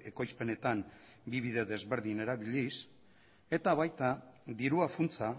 ekoizpenetan bi bide desberdin erabiliz eta baita dirua funtsa